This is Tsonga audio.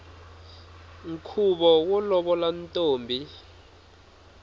nkhuvo wo lovola ntombi